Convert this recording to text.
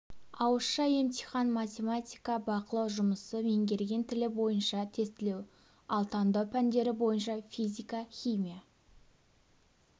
ауызша емтихан математика бақылау жұмысы меңгерген тілі бойынша тестілеу ал таңдау пәндері бойынша физика химия